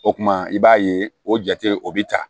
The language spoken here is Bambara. O kuma i b'a ye o jate o bi ta